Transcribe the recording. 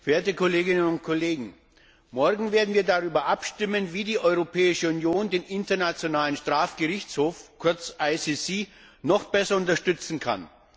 Frau Präsidentin, verehrte Kolleginnen und Kollegen! Morgen werden wir darüber abstimmen, wie die Europäische Union den Internationalen Strafgerichtshof, kurz IStGH, noch besser unterstützen kann.